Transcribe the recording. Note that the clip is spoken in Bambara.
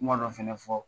Kuma dɔ fana fɔ